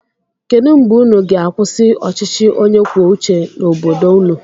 Kedụ mgbe ụnụ ga-akwụsị ọchịchị onye kwuo uche n'obodo ụnụ?